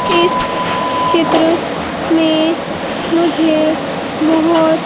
इस चित्र में मुझे बहोत--